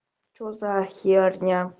что за херня